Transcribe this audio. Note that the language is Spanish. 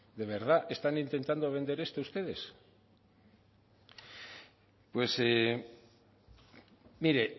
de verdad están intentando vender esto ustedes pues mire